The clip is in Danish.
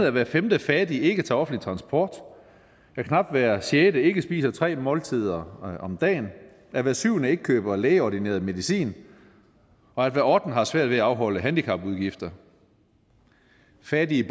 at hver femte fattig ikke tager offentlig transport at knap hver sjette ikke spiser tre måltider om dagen at hver syvende ikke køber lægeordineret medicin og at hver ottende har svært ved at afholde handicapudgifter fattige